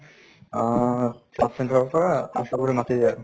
আহ sub center ৰ পৰা ASHA বোৰে মাতি দিয়ে আৰু।